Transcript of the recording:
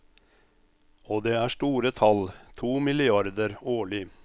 Og det er store tall, to milliarder årlig.